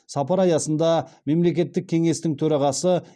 сапар аясында мемлекеттік кеңестің төрағасы